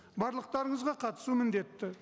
барлықтарыңызға қатысу міндетті